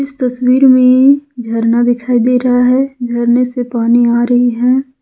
तस्वीर में झरना दिखाई दे रहा है झरने से पानी आ रही है।